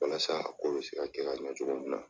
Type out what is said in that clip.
Walasa o bɛ se ka kɛ ka ɲɛ cogo min na.